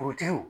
Forotigiw